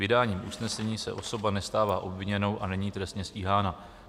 Vydáním usnesení se osoba nestává obviněnou a není trestně stíhána."